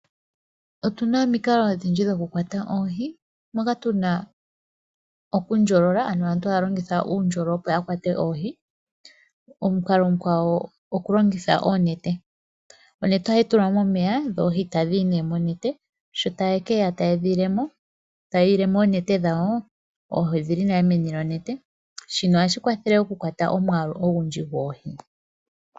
Otuna omikalo odhindji dhoku kwata oohi moka tu na okundjolola ano aantu haya longitha uundjolo opo ya kwate oohi. Omukalo omukwawo oku longitha oonete, onete ohayi tulwa momeya dho oohi tadhi yi nee monete, sho taye ke ya taye dhi ilemo, tayi ile mo oonete dhawo, odhili nale meni lyonete. Shino ohashi kwathele oku kwata omwaalu ogundji goohi.